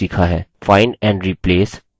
find and replace